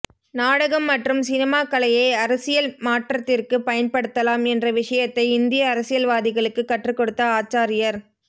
நாடகம் மற்றும் சினிமாக்கலையை அரசியல் மாற்றத்திற்கு பயன் படுத்தலாம் என்ற விஷயத்தை இந்திய அரசியல்வாதிகளுக்கு கற்றுக்கொடுத்த ஆச்சாரியர்